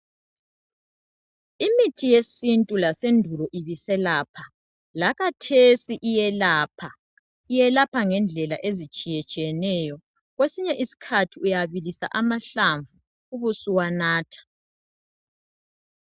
Imithi yesintu lasendulo ibiselapha lakhathesi iyelapha. Iyelapha ngendlela ezitshiyetshiyeneyo. Kwesinye isikhathi uyabilisa amahlamvu ubusuwanatha.